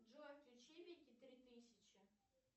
джой включи вики три тысячи